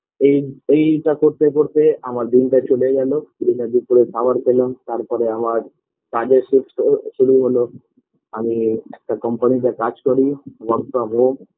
এই এইটা করতে করতে আমার দিনটা চলে গেল দুপুরে খাবার খেলাম তারপরে আমার কাজের সুস্থ শুরু হলো আমি একটা company - তে কাজ করি work from home